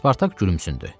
Spartak gülümsündü.